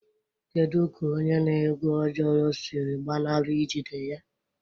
Kedu ka onye na-egu ojoro siri gbanarị ijide ya?